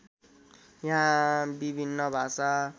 यहाँ विभिन्न भाषा